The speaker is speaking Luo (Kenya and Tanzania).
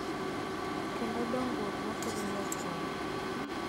Kendo dongruok ma kelo lokruok